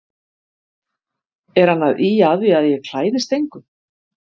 Er hann að ýja að því að ég klæðist engu?